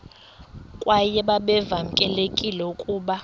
kwaye babevamelekile ukuba